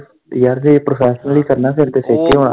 ਤੇ ਯਾਰ ਜੇ professionally ਕਰਨਾ ਫਿਰ ਤੇ ਛੇਤੀ ਹੁਣਾ।